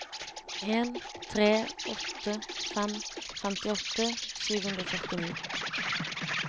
en tre åtte fem femtiåtte sju hundre og førtini